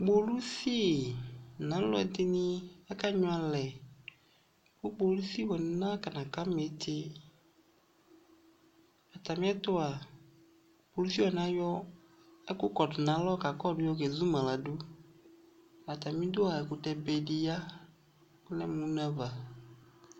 Kpolusi nʋ alʋɛdɩnɩ akanyʋɛ alɛ kʋ kpolusi wanɩ nakɔnaka ma ɩtɩ Atamɩɛtʋ a, kpolusi wanɩ ayɔ ɛkʋkɔdʋ nʋ alɔ kakɔdʋ yɔkezu ma ladʋ Atamɩdu a, ɛkʋtɛbe dɩ ya Ɔlɛ mʋ une ava